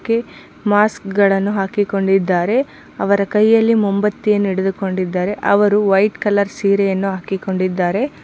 mask ಗಳನ್ನು ಹಾಕಿ ಕೊಂಡಿದರೆ ಅವರು ಕೈಯಲ್ಲಿ ಮೊಎಂಬತ್ತಿನನ್ನು ಹಿಡುದು ಕೊಂಡಿದ್ದಾರೆ ಅವರು ವೈಟ್ ಕಲರ್ ಸೀರೆಯನ್ನು ಹಾಕಿಕೊಂಡಿದ್ದಾರೆ --